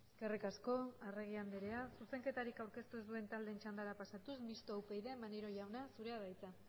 eskerrik asko arregi andrea zuzenketarik aurkeztu ez duten taldeen txandara pasatuz mistoa upyd maneiro jauna zurea da hitza